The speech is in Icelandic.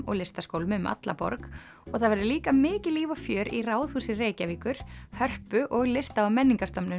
og listaskólum um alla borg og það verður líka mikið líf og fjör í Ráðhúsi Reykjavíkur Hörpu og lista og menningarstofnunum